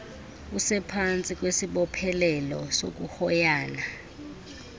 usephantsi kwesibophelelo sokuhoyana